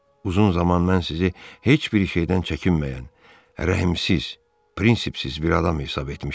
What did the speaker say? Uzun zaman mən sizi heç bir şeydən çəkinməyən, rəhimsiz, printsipsiz bir adam hesab etmişəm.